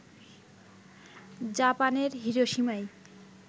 জাপানের হিরোশিমায়